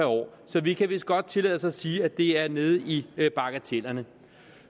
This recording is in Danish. år så vi kan vist godt tillade os at sige at det er nede i bagatellerne